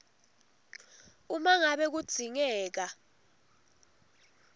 uma ngabe kudzingeka